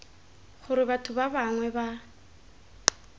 gore batho ba bangwe ba